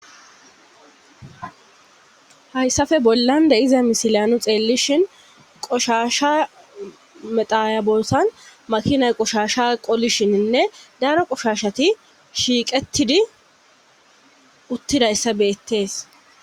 hayssafe bollande iza misilyanu xeellishin qoshasha mexaya bolsan makinay qoshasha qolishininne daro qoshashati shiiqettidi uttidayssa beettees